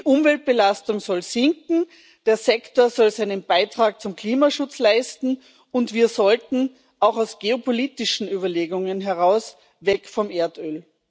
Die Umweltbelastung soll sinken, der Sektor soll seinen Beitrag zum Klimaschutz leisten, und wir sollten auch aus geopolitischen Überlegungen heraus weg vom Erdöl.